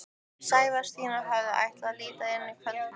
Sævar, Stína og Hörður ætla að líta inn eftir kvöldmat.